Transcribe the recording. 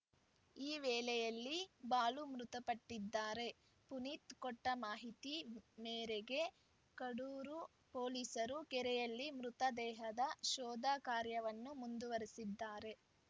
ಈ ವೇಳೆಯಲ್ಲಿ ಬಾಲು ಮೃತಪಟ್ಟಿದ್ದಾರೆ ಪುನೀತ್‌ ಕೊಟ್ಟಮಾಹಿತಿ ಮೇರೆಗೆ ಕಡೂರು ಪೊಲೀಸರು ಕೆರೆಯಲ್ಲಿ ಮೃತ ದೇಹದ ಶೋಧ ಕಾರ್ಯವನ್ನು ಮುಂದುವರಿಸಿದ್ದಾರೆ